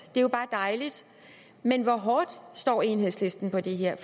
er jo bare dejligt men hvor hårdt står enhedslisten på det her